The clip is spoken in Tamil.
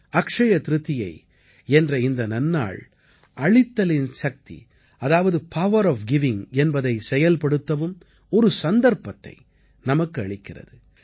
அக்ஷ்ய திரிதியை என்ற இந்த நன்னாள் அளித்தலின் சக்தி அதாவது பவர் ஒஃப் கிவிங் என்பதை செயல்படுத்தவும் ஒரு சந்தர்ப்பத்தை நமக்கு அளிக்கிறது